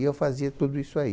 E eu fazia tudo isso aí.